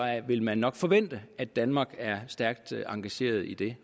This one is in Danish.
vil man nok forvente at danmark er stærkt engageret i det